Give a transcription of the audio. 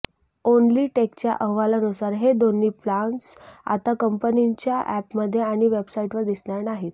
ओन्लीटेकच्या अहवालानुसार हे दोन्ही प्लान्स आता कंपनीच्या अॅपमध्ये आणि वेबसाइटवर दिसणार नाहीत